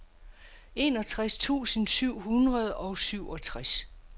enogtres tusind syv hundrede og syvogtres